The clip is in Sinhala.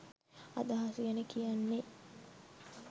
අදහස් ගැන කියන්නේ.